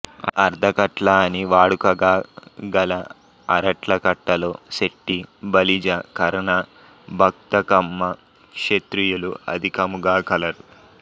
అర్ధకట్ల అని వాడుకగా గల అరట్లకట్టలో సెట్టి బలిజ కర్ణ భక్త కమ్మ క్షత్రియులు అధికముగా కలరు